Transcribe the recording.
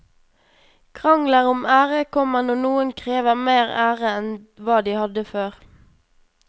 Krangler om ære kommer når noen krever mer ære enn hva de hadde før.